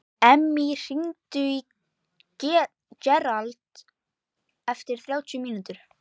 Emmý, hringdu í Gerald eftir þrjátíu mínútur.